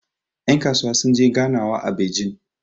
yankasuwa sun je ganwa a bejin